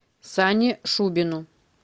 сане шубину